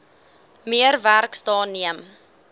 meer werksdae neem